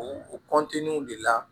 U de la